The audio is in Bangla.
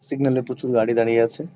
সিগন্যাল -এ প্রচুর গাড়ি দাঁড়িয়ে আছে।